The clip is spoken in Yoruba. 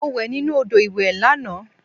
Mo wẹ̀ nínú odò ìwẹ̀ lànà